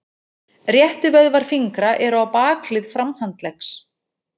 Réttivöðvar fingra eru á bakhlið framhandleggs.